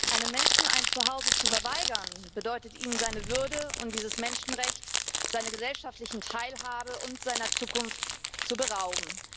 Einem Menschen ein Zuhause zu verweigern, bedeutet, ihn seiner Würde und dieses Menschenrechts, seiner gesellschaftlichen Teilhabe und seiner Zukunft zu berauben.